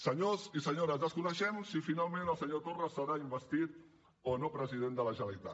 senyors i senyores desconeixem si finalment el senyor torra serà investit o no president de la generalitat